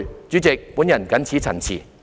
主席，我謹此陳辭。